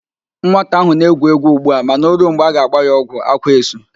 Nwata ahụ na-egwu égwú ugbu a mana o ruo mgbe a ga-agba ya ọgwụ, ákwá esu.